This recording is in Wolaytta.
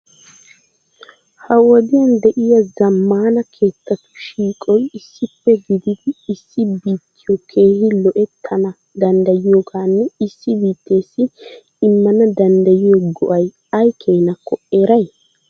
Ha wodiyan de'iya zammaana keettatu shiiqqoy issippe gididi issi biittiyo keehi lo'ettana danddayiyoogenne issi biittessi immana danddayioo go'ay ay keenakko eray?